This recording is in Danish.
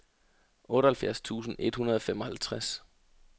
otteoghalvfjerds tusind et hundrede og femoghalvtreds